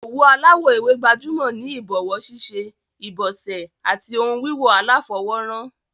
Òwú aláwò ewé gbajúmò ni ìbòwó síṣe, ìbòsè àti oun wíwò aláfowó ran